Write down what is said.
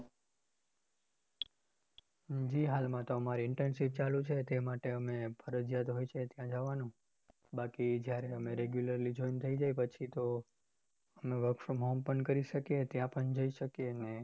હમ જી હાલમાં તો અમારી internship ચાલુ છે ટે માટે ફરજીયાત હોય છે ત્યાં જવાનું બાકી જયારે અમે regular join થઇ જઈએ પછી તો અમે work from home પણ કરી શકીએ ત્યાં પણ જઈ શકીએ. અને